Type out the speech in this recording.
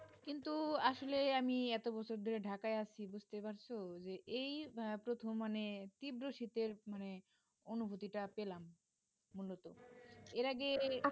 কিন্তু আসলে আমি এত বছর ধরে ঢাকায় আছি বুঝতে পারছ যে এই প্রথম মানে তীব্র শীতের মানে অনুভূতিটা পেলাম মূলত এর আগে